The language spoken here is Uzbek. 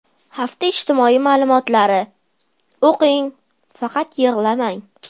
Hafta ijtimoiy muammolari: O‘qing, faqat yig‘lamang.